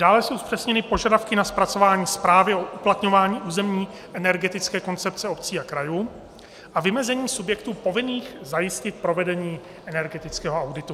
Dále jsou zpřesněny požadavky na zpracování zprávy o uplatňování územní energetické koncepce obcí a krajů a vymezení subjektů povinných zajistit provedení energetického auditu.